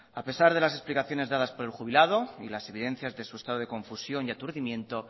a pesar de las explicaciones dadas por el jubilado y las evidencias de su estado de confusión y aturdimiento